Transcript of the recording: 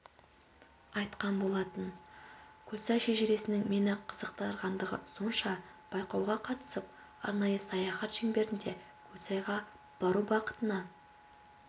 айтқан болатын көлсай шежіресінің мені қызықтырғандығы сонша байқауға қатысып арнайы саяхат шеңберінде көлсайға бару бақытына